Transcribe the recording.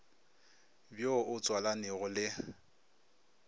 bj wo o tswalanego le